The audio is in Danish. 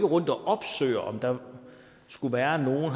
rundt og opsøger om der skulle være nogen og